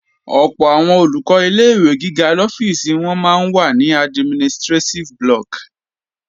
Ọ̀pọ̀ àwọn Olùkọ́ ilé-ìwé gíga lọ́fíìsì wọn máa ń wà ní administrétíf blọọ̀kì